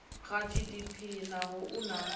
kha gdp naho u na